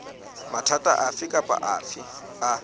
mathata afe kapa afe a